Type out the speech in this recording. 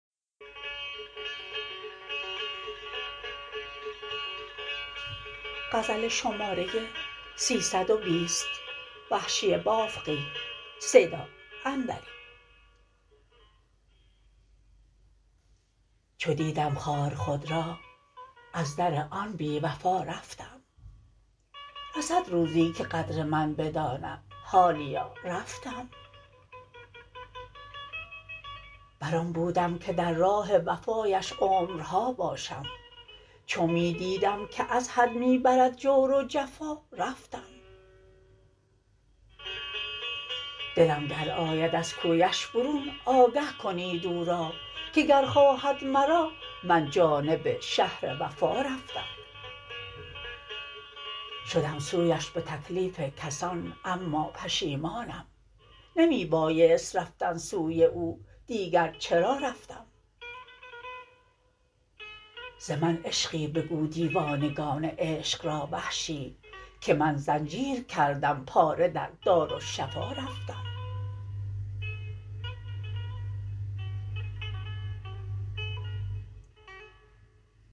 چو دیدم خوار خود را از در آن بیوفا رفتم رسد روزی که قدر من بداند حالیا رفتم بر آن بودم که در راه وفایش عمرها باشم چو می دیدم که ازحد می برد جور و جفا رفتم دلم گر آید از کویش برون آگه کنید او را که گر خواهد مرا من جانب شهر وفا رفتم شدم سویش به تکلیف کسان اما پشیمانم نمی بایست رفتن سوی او دیگر چرا رفتم ز من عشقی بگو دیوانگان عشق را وحشی که من زنجیر کردم پاره در دارالشفا رفتم